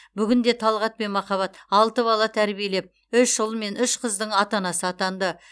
бүгінде талғат пен махаббат алты бала тәрбиелеп үш ұл мен үш қыздың ата анасы атанды